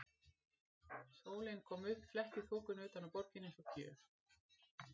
Sólin kom upp, fletti þokunni utan af borginni eins og gjöf.